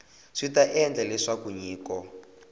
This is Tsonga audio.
swi ta endla leswaku nyiko